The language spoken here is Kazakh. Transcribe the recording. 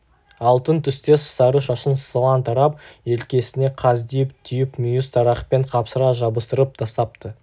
алтын түстес сары шашын сылаң тарап желкесіне қаздитып түйіп мүйіз тарақпен қапсыра жабыстырып тастапты